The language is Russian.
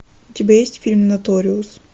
у тебя есть фильм ноториус